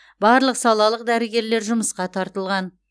барлық салалық дәрігерлер жұмысқа тартылған